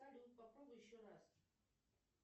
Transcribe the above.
салют попробуй еще раз